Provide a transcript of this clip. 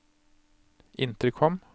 intercom